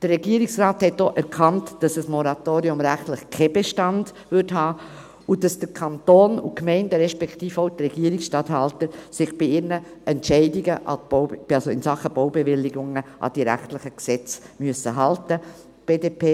Der Regierungsrat hat auch erkannt, dass ein Moratorium rechtlich keinen Bestand hätte und dass der Kanton und die Gemeinden, respektive auch die Regierungsstatthalter, sich bei ihren Entscheidungen in Sachen Baubewilligungen an die rechtlichen Gesetze halten müssen.